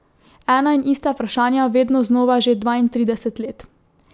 Ena in ista vprašanja vedno znova že dvaintrideset let.